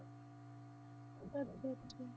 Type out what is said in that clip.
ਅੱਛਾ ਅੱਛਾ।